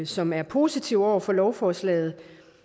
som er positive over for lovforslaget